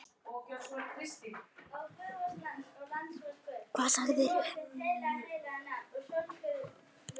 Hvað sagirðu?